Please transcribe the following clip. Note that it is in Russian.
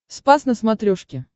спас на смотрешке